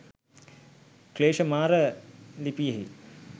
ක්ලේශ මාර ලිපියෙහි